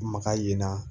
Maga in na